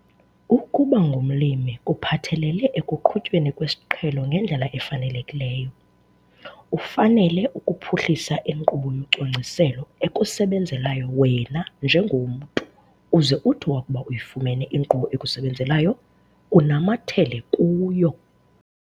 Ukuba ngumlimi kuphathelele ekuqhutyweni kwesiqhelo ngendlela efanelekileyo. Ufanele ukuphuhlisa inkqubo yocwangciselo ekusebenzelayo wena njengomntu uze uthi wakuba uyifumene inkqubo ekusebenzelayo, unamathele kuyo.